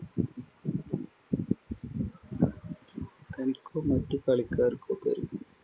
തനിക്കോ മറ്റു കളിക്കാർക്കോ